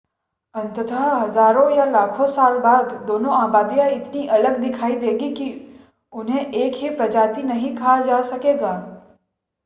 अंततः हजारों या लाखों साल बाद दोनों आबादियां इतनी अलग दिखाई देंगी कि उन्हें एक ही प्रजाति नहीं कहा जा सकेगा